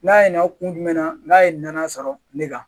N'a ye na kun jumɛn na n'a ye nɔnɔ sɔrɔ ne kan